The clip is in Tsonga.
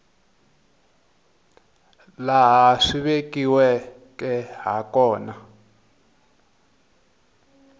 laha swi vekiweke ha kona